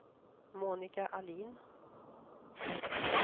Monika Ahlin